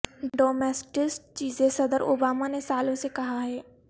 ڈومیسٹیسٹ چیزیں صدر اوبامہ نے سالوں سے کہا ہے